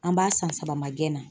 An b'a san saba ma gɛn na.